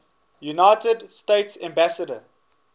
united states ambassadors